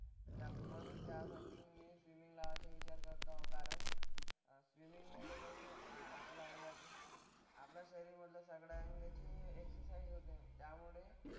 त्या मग त्यासाठी मी स्विमिंग लावायचा विचार करतो कारण अह स्विमिंगमुळे कसं आपलं अंग आपल्या शरीरमधल्या सगळ्या अंगाची एक्सरसाइज होते त्यामुळे,